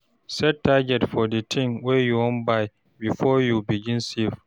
Set target for di thing wey you wan buy before you begin save